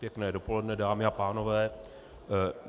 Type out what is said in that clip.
Pěkné dopoledne, dámy a pánové.